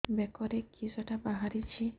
ବେକରେ କିଶଟା ବାହାରିଛି